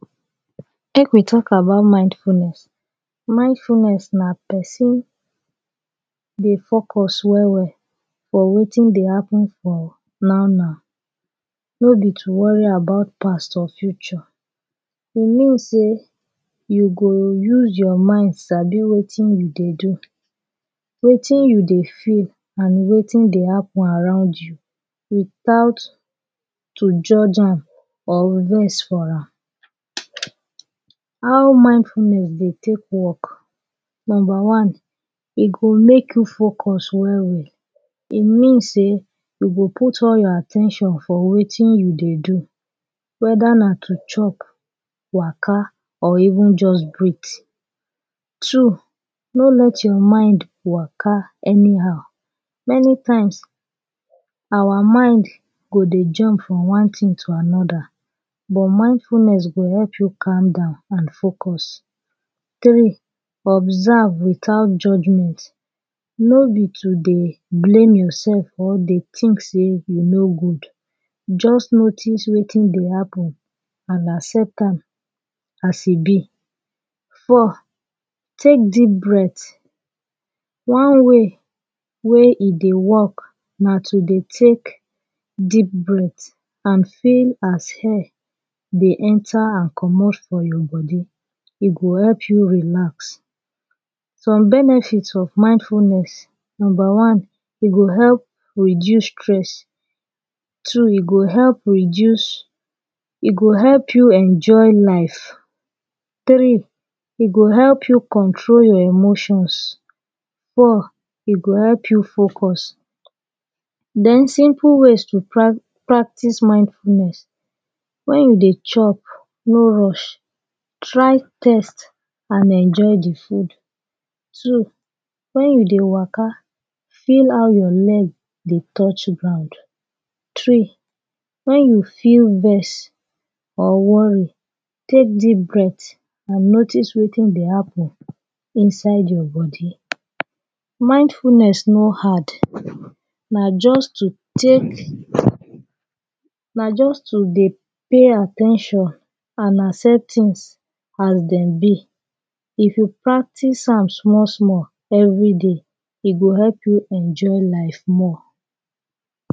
make we talk about mindfulness mindfulness nah per son deh focus well well or wetin dey happen for now now no be to worry about past or future e mean say you go use your mind sabi wetin you dey do wetin you dey fear and wetin dey happen aroound you with out keeep judge am or will vex for am how mindfulness dey take work number one e go make you focus well well e mean say you go put all your at ten tion for wetin you dey do weather nah to chop waka or even just breath two no let your mind waka anyhow many times our mind go dey jump from one thing to another but mindfulness go help you calm down and focus three observe without judging it no be to dey blame yourself or dey think say you no good just notice wetin dey appen and accept am as e be four take deep breath one way wey e dey work nah to dey take deep breath and feel as air dey enter and commot for your bodey e go help you relax some benefit of mindfulness number one e go help reduce stress two e go help reduce e go help you enjoy life three e go help you control your emotions four e go help you focus then simple ways to pra practice mindfulness when you dey chop no rush try taste and enjoy the food two when you dey waka feel how your leg dey touch ground three when you feel vex or worried take deep breath and notice wetin dey happen inside your body mindfulness no hard nah just to take nah just to dey pay at ten tion and accept things as dem be if you practice am small small everyday e go help you enjoy life more